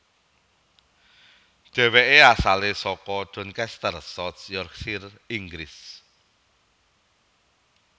Dheweke asale saka Doncaster South Yorkshire Inggris